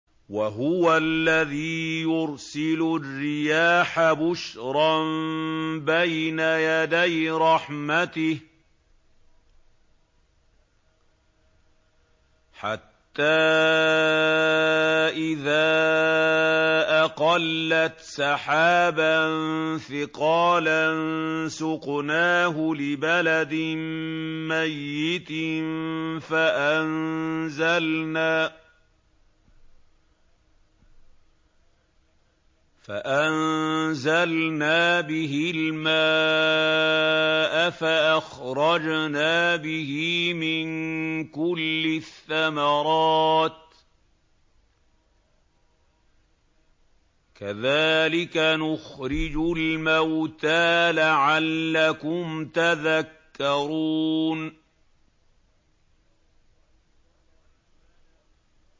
وَهُوَ الَّذِي يُرْسِلُ الرِّيَاحَ بُشْرًا بَيْنَ يَدَيْ رَحْمَتِهِ ۖ حَتَّىٰ إِذَا أَقَلَّتْ سَحَابًا ثِقَالًا سُقْنَاهُ لِبَلَدٍ مَّيِّتٍ فَأَنزَلْنَا بِهِ الْمَاءَ فَأَخْرَجْنَا بِهِ مِن كُلِّ الثَّمَرَاتِ ۚ كَذَٰلِكَ نُخْرِجُ الْمَوْتَىٰ لَعَلَّكُمْ تَذَكَّرُونَ